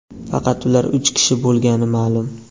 faqat ular uch kishi bo‘lgani ma’lum.